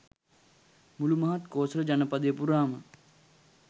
මුලු මහත් කෝසල ජනපදය පුරාම